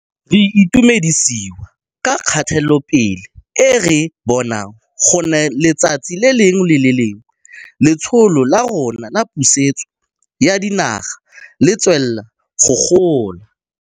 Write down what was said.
Re itumedisiwa ke kgatelopele e re e bonang gonne letsatsi le lengwe le le lengwe Letsholo la rona la Pusetso ya Dinaga le tswelela go gola.